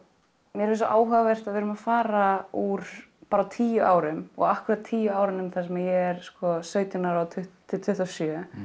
mér finnst svo áhugavert að við erum að fara úr á tíu árum og akkúrat tíu árunum sem ég er sautján ára til tuttugu og sjö